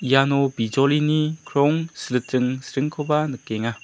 iano bijolini krong siliting sringkoba nikenga.